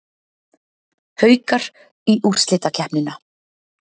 Haukar í úrslitakeppnina